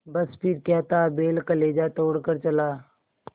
बस फिर क्या था बैल कलेजा तोड़ कर चला